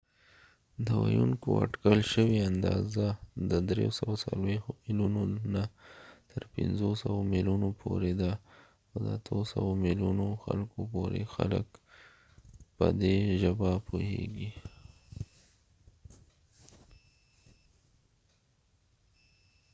د ويونکو اټکل شوي اندازه د 340 ملیونو نه تر 500 ملیونو پورې ده او د 800 ملیونو خلکو پورې خلک په دي ژبه پوهیږی